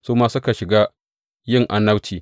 Su ma suka shiga yin annabci.